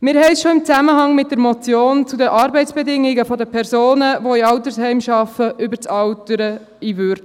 Wir hatten schon in Zusammenhang mit der Motion zu den Arbeitsbedingungen der Personen, die in Altersheimen arbeiten, das Thema des Alterns in Würde.